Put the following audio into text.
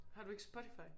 Har du ikke Spotify?